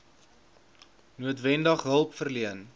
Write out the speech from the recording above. noodwendig hulp verleen